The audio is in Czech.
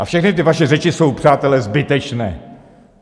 A všechny ty vaše řeči jsou, přátelé, zbytečné!